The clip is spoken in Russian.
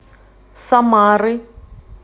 самары